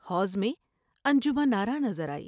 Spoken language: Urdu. حوض میں انجمن آرا نظر آئی ۔